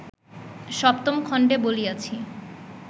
সপ্তম খণ্ডে বলিয়াছি